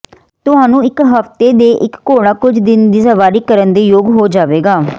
ਤੁਹਾਨੂੰ ਇੱਕ ਹਫ਼ਤੇ ਦੇ ਇੱਕ ਘੋੜਾ ਕੁਝ ਦਿਨ ਦੀ ਸਵਾਰੀ ਕਰਨ ਦੇ ਯੋਗ ਹੋ ਜਾਵੇਗਾ